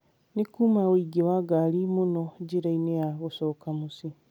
Nĩ kũũma ũingĩ wa ngari mũno njĩra-inĩ ya gĩcoka mũciĩ.